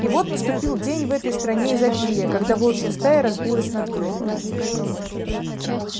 и вот наступил день в этой стране изобилия когда волчья стая разбилась на две